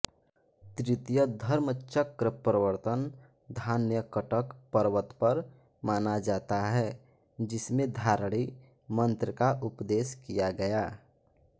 तृतीय धर्मचक्रप्रवर्तन धान्यकटक पर्वत पर माना जाता है जिसमें धारणी मन्त्र का उपदेश किया गया